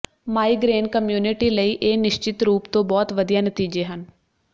migraine community ਲਈ ਇਹ ਨਿਸ਼ਚਿਤ ਰੂਪ ਤੋਂ ਬਹੁਤ ਵਧੀਆ ਨਤੀਜੇ ਹਨ